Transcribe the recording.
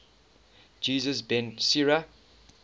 jesus ben sira